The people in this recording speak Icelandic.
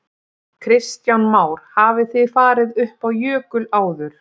Kristján Már: Hafið þið farið upp á jökul áður?